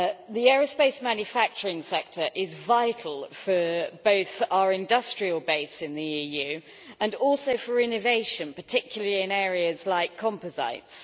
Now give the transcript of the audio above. The aerospace manufacturing sector is vital for both our industrial base in the EU and also for innovation, particularly in areas like composites.